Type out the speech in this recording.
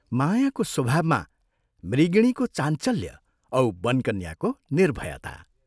मायाको स्वभावमा मृगिणीको चाञ्चल्य औ वनकन्याको निर्भयता।